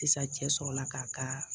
Sisan cɛ sɔrɔla k'a kaa